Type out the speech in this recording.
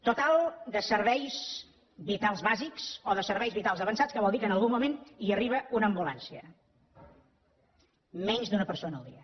total de serveis vitals bàsics o de serveis vitals avançats que vol dir que en algun moment hi arriba una ambulància menys d’una persona al dia